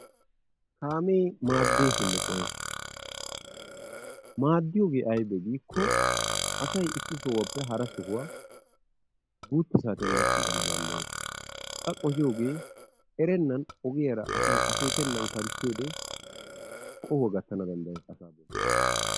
kaamee maadeesinne qohees. maadiyoogee aybee giikko asay issi sohuwappe hara sohuwa guutta saatiyan gakiigana danddayees. qa qohiyoogee erennan akeekennan asay ogiyara kanttiyode qohuwa gatana dandayes asaa boli.